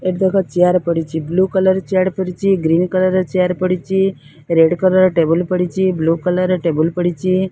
Chair ପଡିଚି। Blue colour chair ପଡିଚି। Green colour chair ପଡିଚି। ରେଡ କଲର ଟେବୁଲ ପଡିଚି। ବୁଲ କଲର ଟେବୁଲ ପଡିଚି।